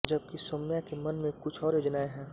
जबकि सौम्या के मन में कुछ और योजनाएं हैं